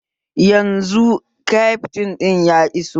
Yanzu kyaftin ɗin ya iso